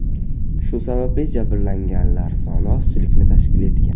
Shu sababli jabrlanganlar soni ozchilikni tashkil etgan.